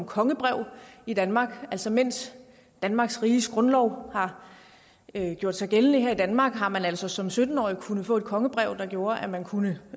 kongebrev i danmark altså imens danmarks riges grundlov har gjort sig gældende her i danmark har man altså som sytten årig kunnet få et kongebrev der gjorde at man kunne